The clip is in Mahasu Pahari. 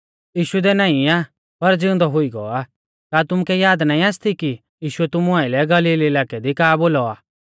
यीशु इदै नाईं आ पर ज़िउंदौ हुई गौ आ का तुमुकै याद नाईं आसती कि यीशुऐ तुमु आइलै गलील इलाकै दी का बोलौ आ